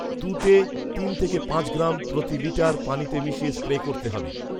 তুঁতে তিন থেকে পাঁচ গ্রাম প্রতি লিটার পানিতে মিশিয়ে স্প্রে করতে হবে